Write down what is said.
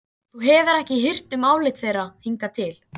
Þú hefur ekki hirt um álit þeirra hingað til.